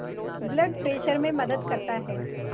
blood pressure में मदद करता है